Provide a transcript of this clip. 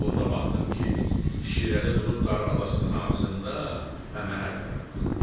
Burda baxdım ki, Şirəli durub darvazasının ağzında və mənə tərəf baxır.